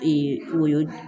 o ye